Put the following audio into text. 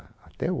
Até